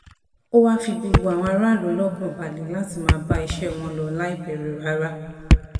ó wàá fi gbogbo àwọn aráàlú lọ́kàn balẹ̀ láti máa bá iṣẹ́ wọn lọ láì bẹ̀rù rárá